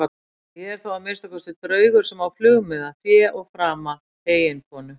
En ég er þó að minnsta kosti draugur sem á flugmiða, fé og frama, eiginkonu.